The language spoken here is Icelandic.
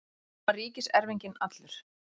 Nú var ríkiserfinginn allur.